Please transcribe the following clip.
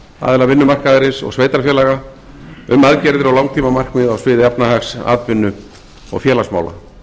aðila vinnumarkaðarins og sveitarfélaga um aðgerðir og langtímamarkmið á sviði efnahags atvinnu og félagsmála